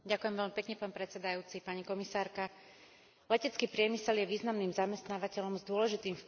Letecký priemysel je významným zamestnávateľom s dôležitým vplyvom na vývoj a rast európskeho hospodárstva.